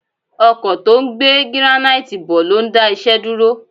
Ọkọ̀ tó ń gbé gíránáìtì bọ̀ ló ń dá iṣẹ́ dúró